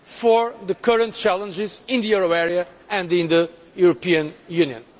for the current challenges in the euro area and in the European Union.